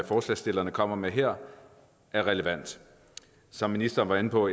forslagsstillerne kommer med her er relevant som ministeren var inde på